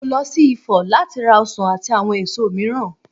Mo lọ sí Ifọ̀ láti ra ọsàn àti àwọn èso mìíràn.